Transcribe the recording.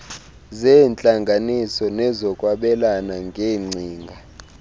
zeentlanganiso nezokwabelana ngeengcinga